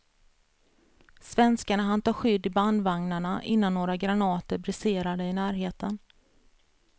Svenskarna hann ta skydd i bandvagnarna innan några granater briserade i närheten.